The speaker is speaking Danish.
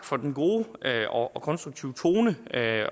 for den gode og og konstruktive tone